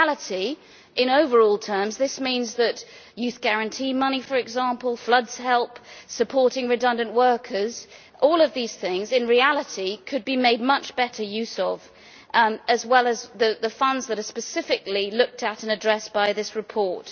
In reality, in overall terms, this means, for example, that youth guarantee money, flood help, supporting redundant workers, all of these things in reality could be made much better use of, as well as the funds that are specifically looked at and addressed by this report.